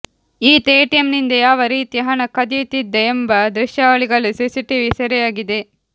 ಈತ ಎಟಿಎಂನಿಂದ ಯಾವ ರೀತಿ ಹಣ ಕದಿಯುತ್ತಿದ್ದ ಎಂಬ ದೃಶ್ಯಾವಳಿಗಳು ಸಿಸಿಟಿವಿ ಸೆರೆಯಾಗಿದೆ